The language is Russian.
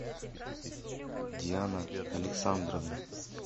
диана александровна